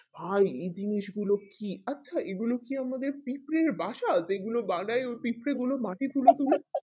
ভাই এই জিনিস গুলো কি আচ্ছা এই গুলো কি আমাদের পিঁপড়ের বাসা যেগুলো বানাই ওই পিঁপড়েগুলো মাটি তুলে তুলে